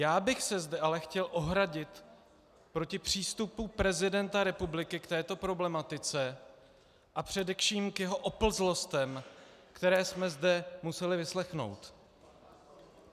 Já bych se zde ale chtěl ohradit proti přístupu prezidenta republiky k této problematice a především k jeho oplzlostem, které jsme zde museli vyslechnout.